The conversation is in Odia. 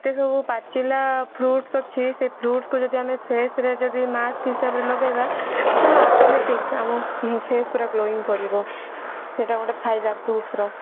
ତାକୁ ପାଚିଲା fruits ଅଛି ସେ fruits କୁ ଯଦି ଆମେ face ରେ ଯଦି mask ହିସାବରେ ଲଗେଇବା ମାନେ automatic ଆମ face ପୁରା glowing କରିବ ଏଟା ଗୋଟେ ଫାଇଦା fruits ର